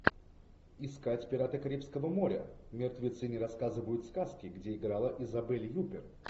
искать пираты карибского моря мертвецы не рассказывают сказки где играла изабель юппер